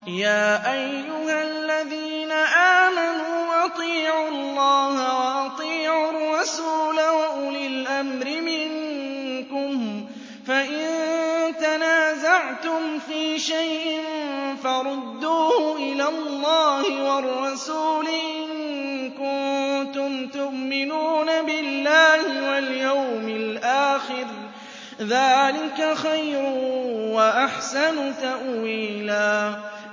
يَا أَيُّهَا الَّذِينَ آمَنُوا أَطِيعُوا اللَّهَ وَأَطِيعُوا الرَّسُولَ وَأُولِي الْأَمْرِ مِنكُمْ ۖ فَإِن تَنَازَعْتُمْ فِي شَيْءٍ فَرُدُّوهُ إِلَى اللَّهِ وَالرَّسُولِ إِن كُنتُمْ تُؤْمِنُونَ بِاللَّهِ وَالْيَوْمِ الْآخِرِ ۚ ذَٰلِكَ خَيْرٌ وَأَحْسَنُ تَأْوِيلًا